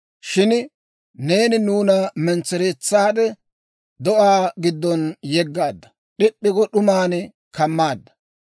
Shin neeni nuuna mentsereetsaade do'aa giddon yeggaadda; d'ip'p'i go d'uman kammaadda.